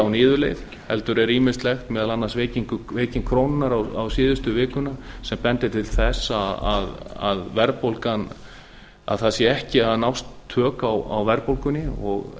á niðurleið heldur er ýmislegt meðal annars veiking krónunnar á síðustu vikuna sem bendir til þess að það séu ekki að nást tök á verðbólgunni og